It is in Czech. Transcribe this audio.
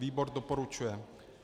Výbor doporučuje.